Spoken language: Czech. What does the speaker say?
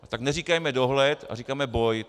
Tak neříkejme dohled, ale říkejme boj.